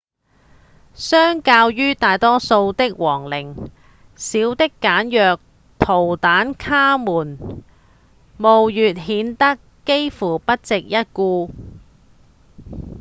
相較於大多數的皇陵小而簡約的圖坦卡門墓穴顯得幾乎不值一顧